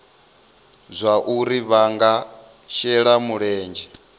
zwauri vha nga shela mulenzhe